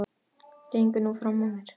Gengur nú fram af mér!